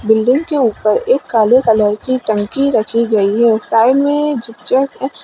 building के ऊपर एक काले कलर की टंकी रखी गई है साइड में